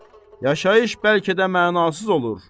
Yaşayış bəlkə də mənasız olur.